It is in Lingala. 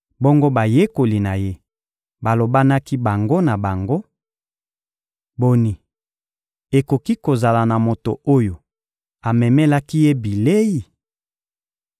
Bongo bayekoli na Ye balobanaki bango na bango: — Boni, ekoki kozala na moto oyo amemelaki Ye bilei?